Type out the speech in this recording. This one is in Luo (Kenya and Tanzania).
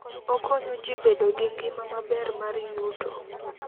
Okonyo ji bedo gi ngima maber mar yuto.